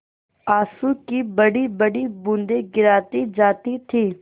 आँसू की बड़ीबड़ी बूँदें गिराती जाती थी